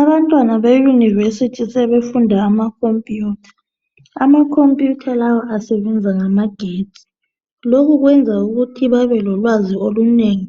Abantwana beyunivesithi sebefunda amakhompiyutha. Amakhompiyutha lawa asebenza ngamagetsi. Lokhu kwenza ukuthi bebelolwazi olunengi